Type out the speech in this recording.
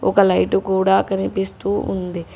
ఒక లైటు కూడా కనిపిస్తూ ఉంది.